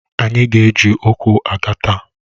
Ànyị ga eji ụkwụ aga taa?